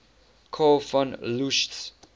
karl von loesch